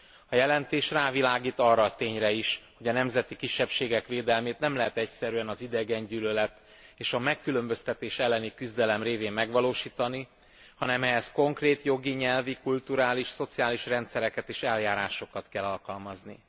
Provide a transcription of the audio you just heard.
A jelentés rávilágít arra a tényre is, hogy a nemzeti kisebbségek védelmét nem lehet egyszerűen az idegengyűlölet és a megkülönböztetés elleni küzdelem révén megvalósítani, hanem ehhez konkrét jogi, nyelvi, kulturális, szociális rendszereket és eljárásokat kell alkalmazni.